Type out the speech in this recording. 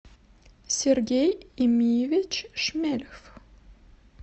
сергей эмиевич шмельф